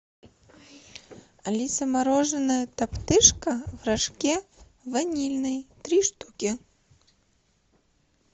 алиса мороженое топтыжка в рожке ванильный три штуки